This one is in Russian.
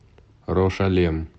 рошалем